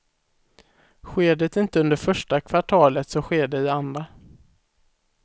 Sker det inte under första kvartalet så sker det i andra.